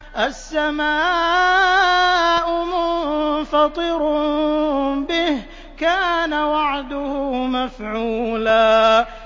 السَّمَاءُ مُنفَطِرٌ بِهِ ۚ كَانَ وَعْدُهُ مَفْعُولًا